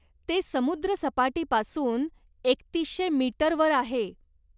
ते समुद्रसपाटीपासून एकतीशे मीटर वर आहे.